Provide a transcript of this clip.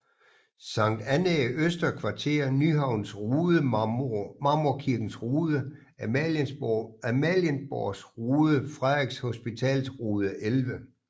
Sankt Annæ Øster Kvarter Nyhavns Rode Marmorkirkens Rode Amalienborgs Rode Frederiks Hospitals Rode 11